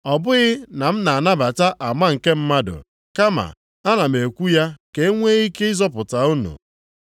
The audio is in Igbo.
Ọ bụghị na m na-anabata ama nke mmadụ, kama a na m ekwu ya ka enwe ike ịzọpụta unu.